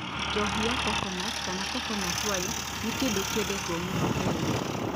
Njohi ya coconut, kana coconut wine, nĩ kĩndũ kĩendetwo mũno Kenya.